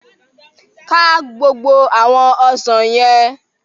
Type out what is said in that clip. Ká gbogbo àwọn ọsàn yẹn!